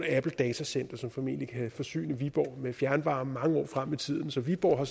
datacenter som formentlig kan forsyne viborg med fjernvarme mange år frem i tiden så viborg har